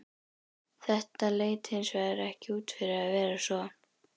Þetta leit hins vegar ekki út fyrir að vera svo.